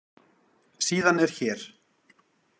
Síðan er hér.